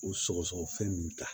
U sɔgɔsɔgɔ fɛn ninnu ta